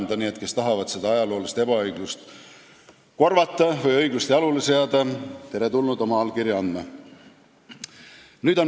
Nii et need, kes tahavad seda ajaloolist ebaõiglust korvata või õiglust jalule seada, on teretulnud oma allkirja andma.